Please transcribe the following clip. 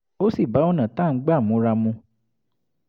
ó sì bá ọ̀nà tá a ń gbà múra mu